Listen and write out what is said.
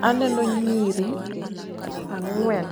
Aneno nyiri ang'wen